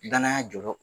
Danaya jɔyɔrɔ